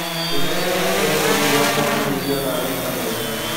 mĩtaratara ya kũoya tegithi wa mwambĩrĩrio thaa thita mũthenya